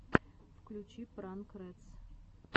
включи пранк рэдс